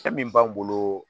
Fɛn min b'an bolo